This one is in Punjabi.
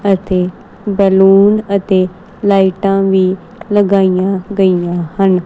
ਅਤੇ ਬੈਲੂਨ ਅਤੇ ਲਾਈਟਾਂ ਵੀ ਲਗਾਈਆਂ ਗਈਆਂ ਹਨ।